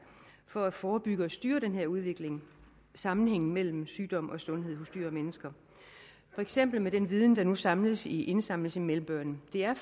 for at forebygge og styre den her udvikling sammenhængen mellem sygdom og sundhed hos dyr og mennesker for eksempel med den viden der nu indsamles i indsamles i melbourne det er